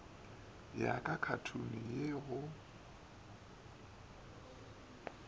ya ka khathuni ye yo